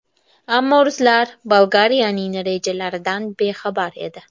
Ammo ruslar Bolgariyaning rejalaridan bexabar edi.